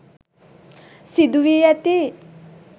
සිදු වී ඇති